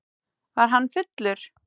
Var hann fullur?